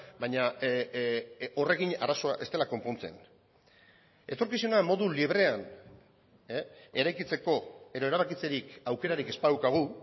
baina horrekin arazoa ez dela konpontzen etorkizuna modu librean eraikitzeko edo erabakitzerik aukerarik ez badaukagu